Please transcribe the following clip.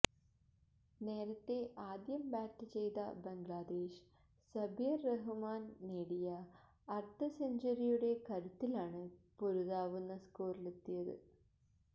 നേരത്തെ ആദ്യം ബാറ്റ് ചെയ്ത ബംഗ്ലാദേശ് സബ്ബിര് റഹ്മാന് നേടിയ അര്ധ സെഞ്ച്വറിയുടെ കരുത്തിലാണ് പൊരുതാവുന്ന സ്കോറിലെത്തിയത്